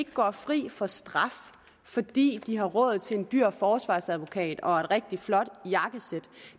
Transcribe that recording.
går fri for straf fordi de har råd til en dyr forsvarsadvokat og et rigtig flot jakkesæt